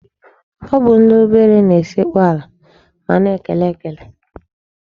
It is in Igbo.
Ọ bụ ndị obere na-esekpu ala ma a na-ekele ekele.